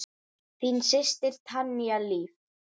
Þín systir, Tanya Líf.